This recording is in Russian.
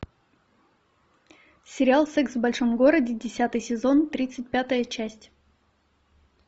сериал секс в большом городе десятый сезон тридцать пятая часть